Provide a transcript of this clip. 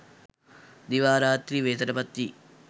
දිවා රාත්‍රී වෙහෙසට පත් වී